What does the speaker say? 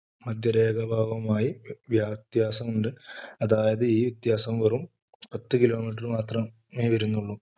മധ്യരേഖ ഭാവവുമായി വ്യത്യാസമുണ്ട് അതായത് ഈ വ്യത്യാസം വെറും പത്ത് kilomitter മാത്രമേ വരുന്നുള്ളൂ.